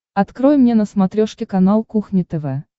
открой мне на смотрешке канал кухня тв